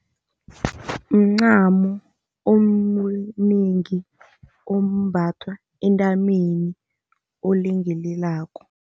Mncamo omnengi, ombathwa entameni, olengelelako.